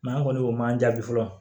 an kɔni o man jaabi fɔlɔ